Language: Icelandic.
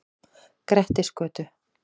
Grettisgötu